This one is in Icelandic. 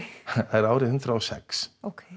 það er árið hundrað og sex